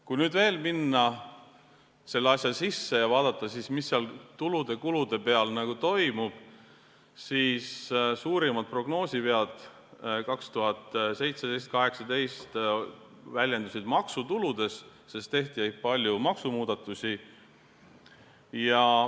Kui minna selle asja sisse ja vaadata, mis tulude ja kuludega toimub, siis suurimad prognoosivead 2017–2018 väljendusid maksutuludes, sest tehti palju maksumuudatusi.